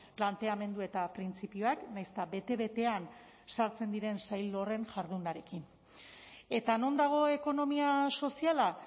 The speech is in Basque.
planteamendu eta printzipioak nahiz eta bete betean sartzen diren sail horren jardunarekin eta non dago ekonomia soziala